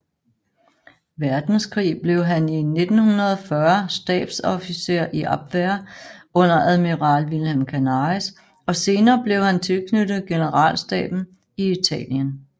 Verdenskrig blev han i 1940 stabsofficer i Abwehr under admiral Wilhelm Canaris og senere blev han tilknyttet generalstaben i Italien